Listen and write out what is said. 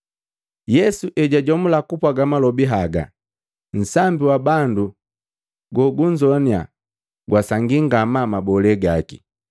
Yesu ejajomula kupwaaga malobi haga, nsambi wa bandu gogunnzoannya gwasangii ngamaa mabole gaki.